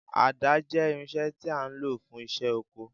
Àdá jẹ́ irinṣẹ́ tí a ń lò fún iṣẹ́ oko